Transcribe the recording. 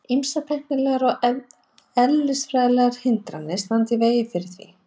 Ýmsar tæknilegar og eðlisfræðilegar hindranir standi í veginum fyrir því.